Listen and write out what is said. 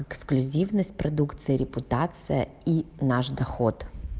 эксклюзивность продукции репутация и наш доход